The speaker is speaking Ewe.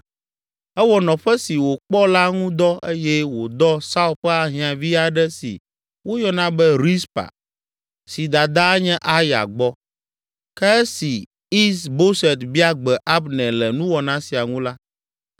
Ewɔ nɔƒe si wòkpɔ la ŋu dɔ eye wòdɔ Saul ƒe ahiãvi aɖe si woyɔna be Rizpa, si dadaa nye Aya gbɔ. Ke esi Is Boset bia gbe Abner le nuwɔna sia ŋu la,